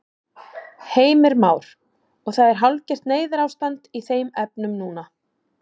Heimir Már: Og það er hálfgert neyðarástand í þeim efnum núna?